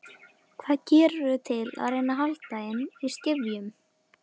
Hvað gerirðu til að reyna að halda þeim í skefjum?